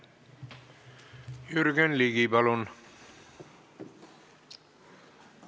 Jürgen Ligi, palun!